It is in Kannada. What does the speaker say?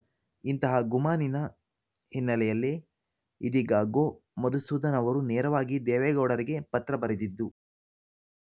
ಇಂತಹ ಗುಮಾನಿನ ಹಿನ್ನೆಲೆಯಲ್ಲೇ ಇದೀಗ ಗೋ ಮಧುಸೂಧನ್‌ ಅವರು ನೇರವಾಗಿ ದೇವೇಗೌಡರಿಗೆ ಪತ್ರ ಬರೆದಿದ್ದು